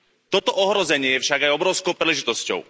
Toto ohrozenie je však aj obrovskou príležitosťou.